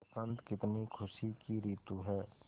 बसंत कितनी खुशी की रितु है